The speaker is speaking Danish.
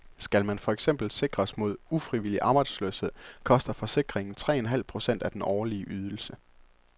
Skal man for eksempel sikres mod ufrivillig arbejdsløshed, koster forsikringen tre en halv procent af den årlige ydelse.